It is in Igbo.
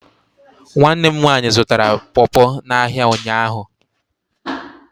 Nwanne m nwaanyị zụtara popo n' áhiá ụnyaahụ.